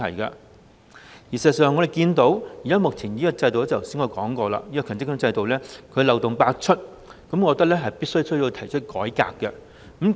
事實上，正如我剛才所說，我們看到現時的強積金制度漏洞百出，我覺得必須改革。